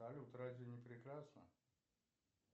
салют разве не прекрасно